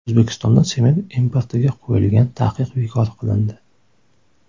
O‘zbekistonda sement importiga qo‘yilgan taqiq bekor qilindi.